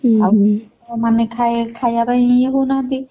ଆଉ ମାନେ ଖାଇ~ ଖାଇବାରେ ୟେ ହଉ ନାହାନ୍ତି।